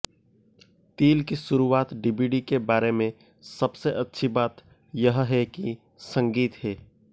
तिल की शुरुआत डीवीडी के बारे में सबसे अच्छी बात यह है कि संगीत है